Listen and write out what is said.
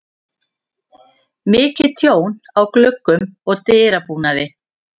Mikið tjón á gluggum og dyrabúnaði.